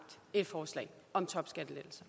et forslag om topskattelettelser